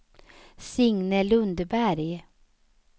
Signe Lundberg